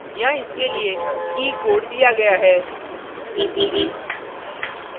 यहाँ इसके लिए की key code दिया गया है